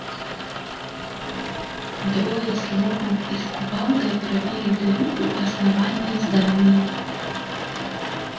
двое с ломом и кувалдой пробили дыру у основания здания